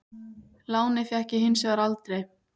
Lánið fékk ég hins vegar aldrei.